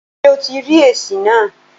Ṣé o ti rí èsì náà?